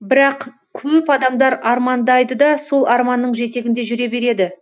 бірақ көп адамдар армандайды да сол арманның жетегінде жүре береді